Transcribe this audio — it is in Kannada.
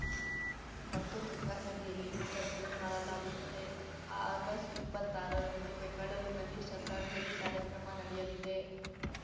ಮತ್ತು ತುಂಗಾ ನದಿಯಲ್ಲಿ ವಿಸರ್ಜನೆ ಮಾಡಲಾಗುತ್ತದೆ ಆಗಸ್ಟ್ಇಪ್ಪತ್ತಾರರಂದು ಬೆಂಗಳೂರಿನಲ್ಲಿ ಶ್ರದ್ಧಾಂಜಲಿ ಕಾರ್ಯಕ್ರಮ ನಡೆಯಲಿದೆ